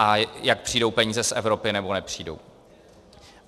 A jak přijdou peníze z Evropy, nebo nepřijdou.